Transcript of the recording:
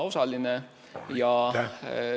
Aitäh!